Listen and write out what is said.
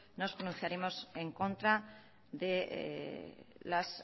nos pronunciaremos en contra de los